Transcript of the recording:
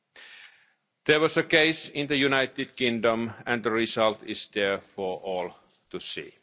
There has been such a case in the United Kingdom and the result is there for all to see.